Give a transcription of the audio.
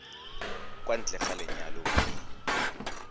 kwa ntle ga lenyalo mme